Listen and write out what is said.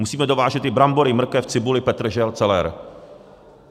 Musíme dovážet i brambory, mrkev, cibuli, petržel, celer.